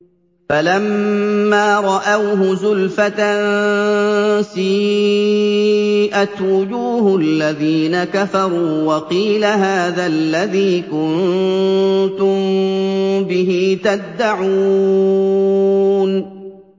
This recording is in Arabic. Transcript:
فَلَمَّا رَأَوْهُ زُلْفَةً سِيئَتْ وُجُوهُ الَّذِينَ كَفَرُوا وَقِيلَ هَٰذَا الَّذِي كُنتُم بِهِ تَدَّعُونَ